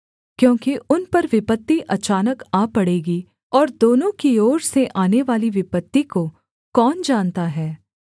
क्योंकि उन पर विपत्ति अचानक आ पड़ेगी और दोनों की ओर से आनेवाली विपत्ति को कौन जानता है